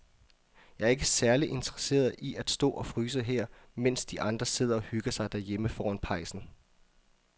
Jeg er ikke særlig interesseret i at stå og fryse her, mens de andre sidder og hygger sig derhjemme foran pejsen.